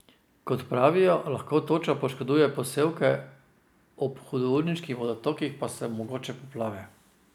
Kot pravijo, lahko toča poškoduje posevke, ob hudourniških vodotokih pa so mogoče poplave.